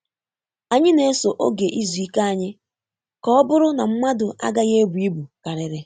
Anyị na-eso oge izu ike anyị ka ọ bụrụ na mmadụ agaghị ebu ibu karịrị.